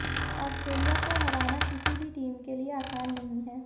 Australia को हराना किसी भी टीम के लिए आसान नहीं है